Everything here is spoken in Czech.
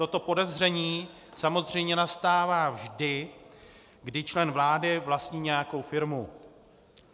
Toto podezření samozřejmě nastává vždy, kdy člen vlády vlastní nějakou firmu.